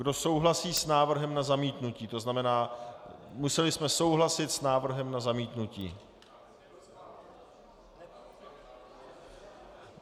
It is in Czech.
Kdo souhlasí s návrhem na zamítnutí - to znamená, museli jsme souhlasit s návrhem na zamítnutí.